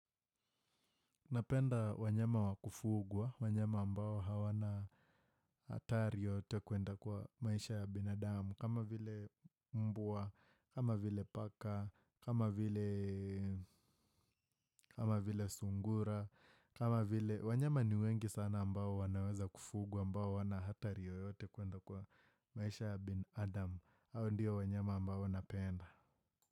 Napenda wanyama wakufugwa, wanyama ambao hawana hatari yoyote kwenda kwa maisha ya binadamu, kama vile mbwa, kama vile paka, kama vile sungura, kama vile wanyama ni wengi sana ambao wanaweza kufugwa, ambao hawana hatari yoyote kuenda kwa maisha ya binadamu, hao ndio wanyama ambao napenda.